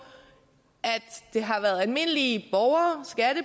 at det har været almindelige